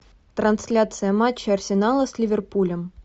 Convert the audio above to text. трансляция матча арсенала с ливерпулем